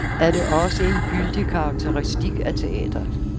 Er det også en gyldig karakteristik af teatret?